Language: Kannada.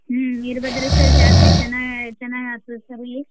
ಹ್ಮ್ ವೀರಭದ್ರೇಶ್ವರ ಜಾತ್ರಿ ಚೆನ್ನಾಗ್ ಆಯ್ತು ಚೆನ್ನಾಗ್ sir ಇಲ್ಲಿ.